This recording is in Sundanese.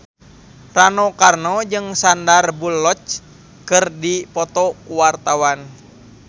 Rano Karno jeung Sandar Bullock keur dipoto ku wartawan